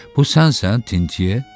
Bu sənsən Titye?